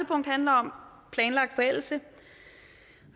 punkt handler om planlagt forældelse